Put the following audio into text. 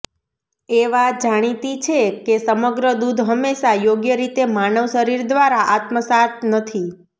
એ વાત જાણીતી છે કે સમગ્ર દૂધ હંમેશા યોગ્ય રીતે માનવ શરીર દ્વારા આત્મસાત નથી